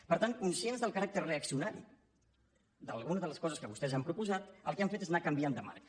per tant conscients del caràcter reaccionari d’algunes de les coses que vostès han proposat el que han fet és anar canviant de marc